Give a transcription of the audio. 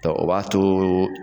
Tɔ o b'a to.